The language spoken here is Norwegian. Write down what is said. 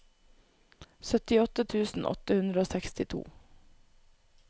syttiåtte tusen åtte hundre og sekstito